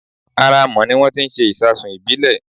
Ara Amọ̀ ni wón ti ń ṣe ìṣasùn ìbílè